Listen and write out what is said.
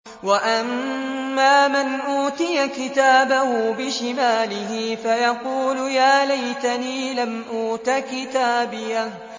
وَأَمَّا مَنْ أُوتِيَ كِتَابَهُ بِشِمَالِهِ فَيَقُولُ يَا لَيْتَنِي لَمْ أُوتَ كِتَابِيَهْ